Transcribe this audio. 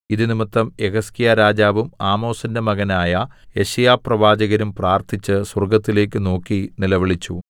ഇതു നിമിത്തം യെഹിസ്കീയാ രാജാവും ആമോസിന്റെ മകനായ യെശയ്യാ പ്രവാചകനും പ്രാർത്ഥിച്ച് സ്വർഗ്ഗത്തിലേക്ക് നോക്കി നിലവിളിച്ചു